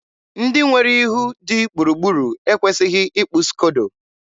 ndị nwere ihu dị gburugburu ekwesịghị ịkpụ skodo.